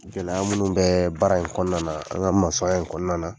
Gɛlɛya minnu bɛ baara in kɔnɔna na ,an ka masɔya in kɔnɔna na.